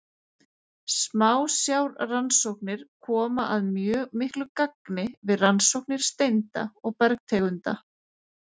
Smásjárrannsóknir koma að mjög miklu gagni við rannsóknir steinda og bergtegunda.